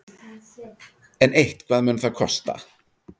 En eitthvað mun það kosta.